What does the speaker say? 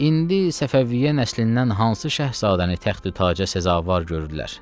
İndi Səfəviyyə nəslindən hansı şahzadəni təxti taca səza var gördülər.